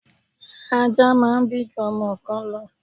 Ajá máà ń bí ju ọmọ kan lọ